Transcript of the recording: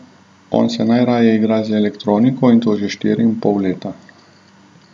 On se najraje igra z elektroniko, in to že štiri in pol leta.